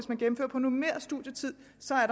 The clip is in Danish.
at på normeret studietid